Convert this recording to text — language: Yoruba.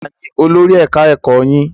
Taani olórí ẹ̀ka ẹ̀kọ́ yín?